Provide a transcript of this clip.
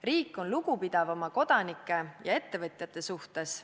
Riik on lugupidav oma kodanike ja ettevõtjate suhtes.